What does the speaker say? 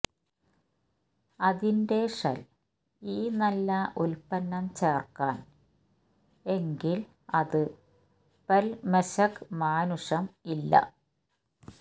അതിന്റെ ഷെൽ ഈ നല്ല ഉൽപ്പന്നം ചേർക്കാൻ എങ്കിൽ അത് പെല്മെശെക് മാനുഷം ഇല്ല